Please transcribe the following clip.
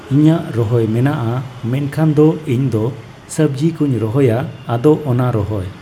ᱤᱧᱟᱹᱜ ᱨᱚᱦᱚᱭ ᱢᱮᱱᱟᱜᱼᱟ ᱢᱮᱱᱠᱷᱟᱱ ᱫᱚ ᱤᱧᱫᱚ ᱥᱚᱵᱡᱤ ᱠᱩᱧ ᱨᱚᱦᱚᱭᱟ ᱟᱫᱚ ᱚᱱᱟ ᱨᱚᱦᱚᱭ